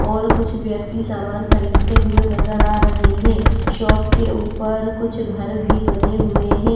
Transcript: और कुछ व्यक्ति सामान खरीदते हुए नजर आ रहे हैं शॉप के ऊपर कुछ घर भी बने हुए हैं।